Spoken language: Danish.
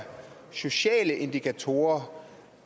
sociale indikatorer